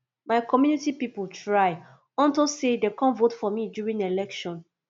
my community people try unto say dey come vote for me during my election